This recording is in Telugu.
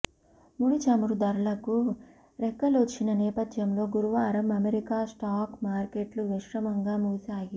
ముడిచమురు ధరలకు రెక్కలొచ్చిన నేపథ్యంలో గురువారం అమెరికా స్టాక్ మార్కెట్లు మిశ్రమంగా ముగిశాయి